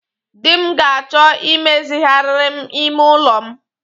Di m ga-achọ imezigharịrị m ime ụlọ m